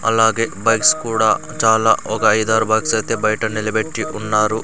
అలాగే బైక్స్ కూడా చాలా ఒక ఐదారు బైక్స్ ఐతే బైట నిలబెట్టి ఉన్నారు.